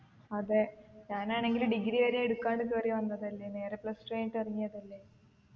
അതെ ഞാനാണെങ്കില് degree വരെ എടുക്കാണ്ട് കേറി വന്നതല്ലേ നേരെ plus two കഴിഞ്ഞിട്ട് ഇറങ്ങിയതല്ലേ